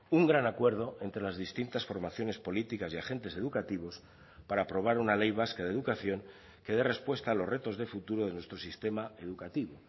un gran acuerdo entre las distintas formaciones políticas y agentes educativos para aprobar una ley vasca de educación que dé respuesta a los retos de futuro de nuestro sistema educativo